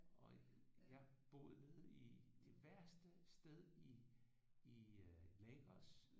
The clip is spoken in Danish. Og jeg boede nede i det værste sted i i øh Lagos